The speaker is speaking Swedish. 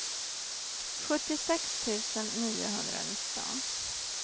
sjuttiosex tusen niohundranitton